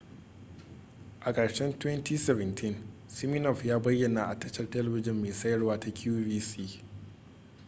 a ƙarshen 2017 siminoff ya bayyana a tashar telebijin mai sayarwa ta qvc